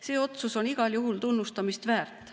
See otsus on igal juhul tunnustamist väärt.